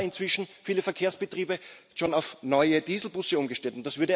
Jetzt haben aber inzwischen viele Verkehrsbetriebe schon auf neue Dieselbusse umgestellt.